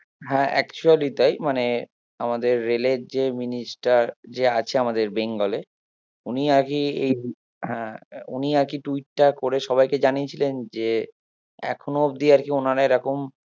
হ্যাঁ actually তাই মানে আমাদের রেলের যে minister যে আছে আমাদের বেঙ্গলে হম উনি নাকি এই হ্যাঁ উনি নাকি tweet করে সবাইকে জানিয়েছিলেন যে এখনো অব্দি আরকি ওনারা এরকম